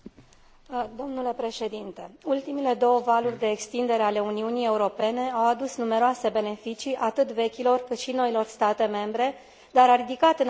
Ultimele două valuri de extindere a Uniunii Europene au adus numeroase beneficii, atât vechilor cât și noilor state membre, dar a ridicat, în același timp, o serie de provocări.